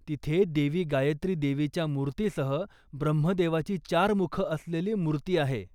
तिथे देवी गायत्री देवीच्या मूर्तीसह ब्रह्मदेवाची चार मुखं असलेली मूर्ती आहे.